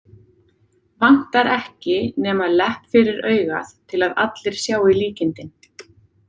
Vantar ekki nema lepp fyrir augað til að allir sjái líkindin.